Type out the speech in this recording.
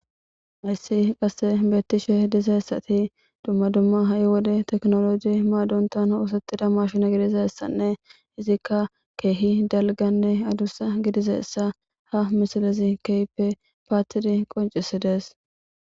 Hayssi qasse bettishe dizayissati dumma dumma ha wodde tekinolojje maadonttan oththetida mashshinne gidizayssane iizika kehi dalggane addussa giddidayssa ha missilezi kehippe pattidi qonccissides.